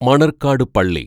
മണർകാട് പള്ളി